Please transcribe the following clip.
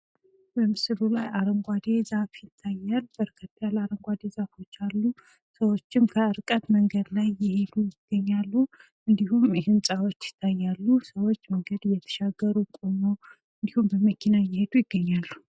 በምስሉ ላይ አረንጓዴ ዛፍ ይታያል ፤ ሰዎችም በርቀት ላይ እየሄዱ፣ ቆመውና መንገድ እየተሻገሩ የሚታይ ሲሆን፤ የተለያዩ ህንጻዎችም ይታያሉ።